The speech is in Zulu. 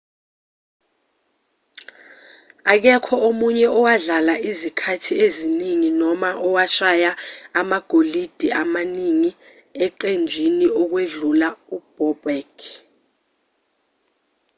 akekho omunye owadlala izikhathi eziningi noma owashaya amagoli amaningi eqenjini ukwedlula u-bobek